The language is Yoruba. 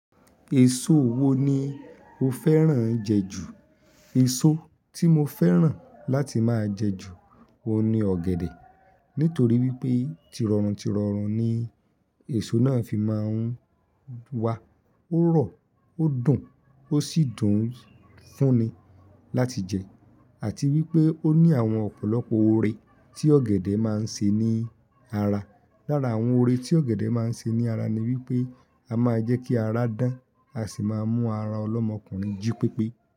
Èso wo ni o fẹ́ràn jẹ jù? Èso tí mo fẹ́ràn láti máa jẹ jù ó ni ọ̀gẹ̀dẹ̀ nítorí wípé tirọrún tirọrún ni èso náà fi máa ń wa, ó rọ̀, ó dùn, ó sì dùn fún ni láti jẹ àti wípé ó ní àwọn ọ̀pọ̀lọpọ̀ oore tí ọ̀gẹ̀dẹ̀ máa ń ṣe ní ara. Lára àwọn oore tí ọ̀gẹ̀dẹ̀ máa ń ṣe ní ara ni wípé a máa ń jẹ́ kí ara dán, a sì máa ń mú ara ọlọ́mọkùnrin jí pípé.